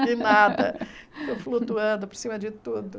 Em nada estou flutuando por cima de tudo.